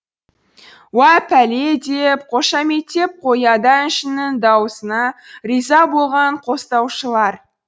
уа пәле деп қошаметтеп қояды әншінің даусына риза болған қостаушылар